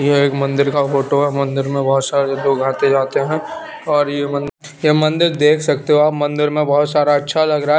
यह एक मंदिर का फोटो है मंदिर मे बहोत सारे लोग आते जाते हैं और ये मन ये मंदिर देख सकते हो आप मंदिर में बहोत सारा अच्छा लग रहा--